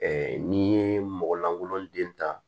n'i ye mɔgɔ lankolon den ta